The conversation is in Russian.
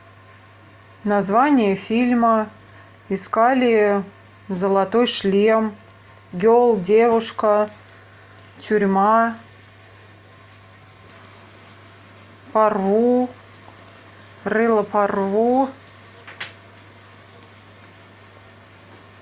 название фильма искали золотой шлем герл девушка тюрьма порву рыло порву